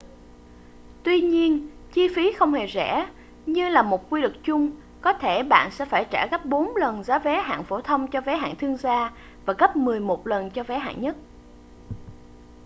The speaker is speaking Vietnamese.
tuy nhiên chi phí không hề rẻ như là một quy luật chung có thể bạn sẽ phải trả gấp bốn lần giá vé hạng phổ thông cho vé hạng thương gia và gấp mười một lần cho vé hạng nhất